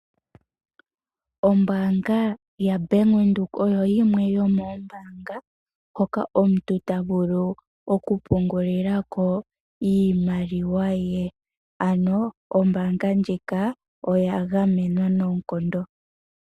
Ombaanga ya Bank Widhoek oyo yimwe yo moombaanga hoka omuntu ta vulu oku pungulila ko iimaliwa ye, ano ombaanga ndjika oya gamwenwa noonkondo.